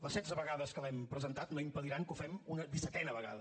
les setze vegades que l’hem presentat no impediran que ho fem una dissetena vegada